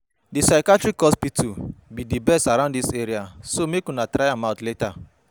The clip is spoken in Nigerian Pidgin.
Dat psychiatrist hospital be the best around dis area so make una try am out later